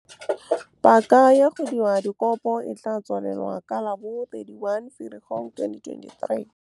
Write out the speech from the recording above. Paka ya go dira dikopo e tla tswalelwa ka la bo 31 Ferikgong 2023. Paka ya go dira dikopo e tla tswalelwa ka la bo 31 Ferikgong 2023.